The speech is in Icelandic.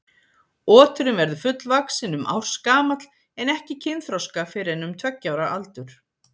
Oturinn verður fullvaxinn um ársgamall en ekki kynþroska fyrr en um tveggja ára aldur.